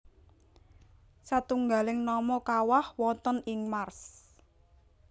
Satunggaling nama kawah wonten ing Mars